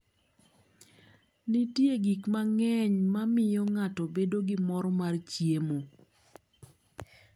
Nitie gik mang'eny ma miyo ng'ato bedo gi mor mar chiemo.